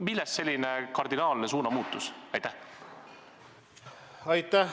Millest selline kardinaalne suunamuutus?